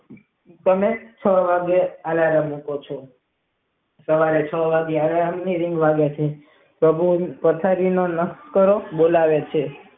તમે છ વાગે આલારામ મુકો છો પછી છ વાગે આલારામ આવે છે પૃભુ પથારી માંથી બોલાવે છે.